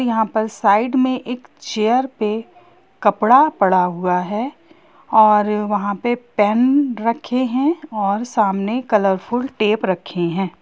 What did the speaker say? यहां पर साइड में एक चेयर पे कपड़ा पड़ा हुआ है और वहाँ पे पेन रखे है और सामने कलरफूल टेप रखे है।